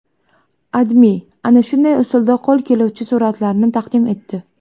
AdMe ana shunday usulda qo‘l keluvchi suratlarni taqdim etdi .